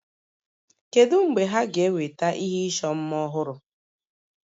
Kedu mgbe ha ga-eweta ihe ịchọ mma ọhụrụ?